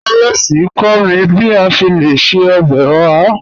Alex n kọ̀ mí bí à ṣè lẹ̀ ṣẹ̀ ọbẹ́ ọ̀hà.